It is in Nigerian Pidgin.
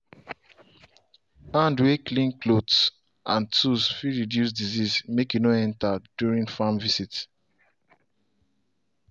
hand way clean clothes and tools fit reduce disease make e no enter during farm visit.